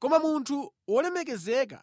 Koma munthu wolemekezeka